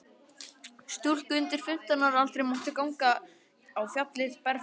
Stúlkur undir fimmtán ára aldri máttu ganga á fjallið berfættar.